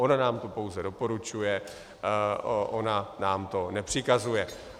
Ona nám to pouze doporučuje, ona nám to nepřikazuje.